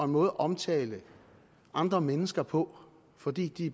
måde at omtale andre mennesker på fordi de